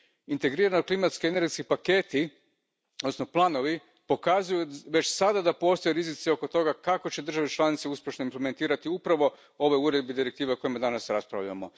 Integrirani klimatsko energetski paketi odnosno planovi pokazuju već sada da postoje rizici oko toga kako će države članice uspješno implementirati upravo ove uredbe i direktive o kojima danas raspravljamo.